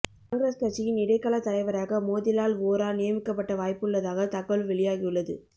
காங்கிரஸ் கட்சியின் இடைக்காலத் தலைவராக மோதிலால் வோரா நியமிக்கப்பட வாய்ப்புள்ளதாக தகவல் வெளியாகியுள்ளது